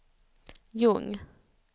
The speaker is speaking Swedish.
Ljung